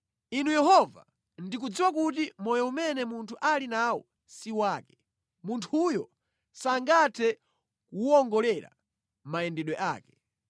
Inu Yehova, ndikudziwa kuti moyo umene munthu ali nawo si wake; munthuyo sangathe kuwongolera mayendedwe ake.